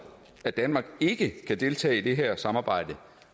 at danmark ikke kan deltage i det her samarbejde